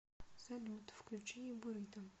салют включи бурито